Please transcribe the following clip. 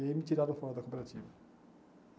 E aí me tiraram fora da cooperativa.